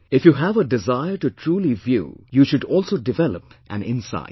"If you have a desire to truly view, you should also develop an insight